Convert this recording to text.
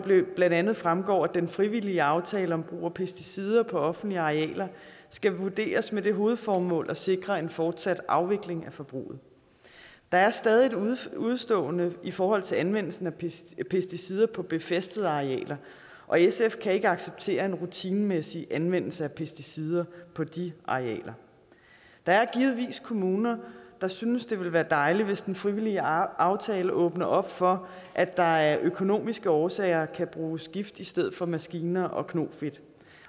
blandt andet fremgår at den frivillige aftale om brug af pesticider på offentlige arealer skal vurderes med det hovedformål at sikre en fortsat afvikling af forbruget der er stadig et udestående i forhold til anvendelsen af pesticider på befæstede arealer og sf kan ikke acceptere en rutinemæssig anvendelse af pesticider på de arealer der er givetvis kommuner der synes at det vil være dejligt hvis den frivillige aftale åbner op for at der af økonomiske årsager kan bruges gift i stedet for maskiner og knofedt